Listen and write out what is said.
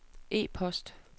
e-post